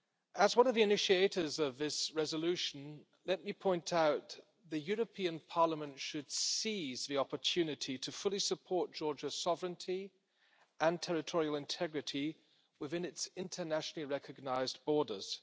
As one of the initiators of this resolution, let me point out that the European Parliament should seize the opportunity to fully support Georgia's sovereignty and territorial integrity within its internationally recognised borders.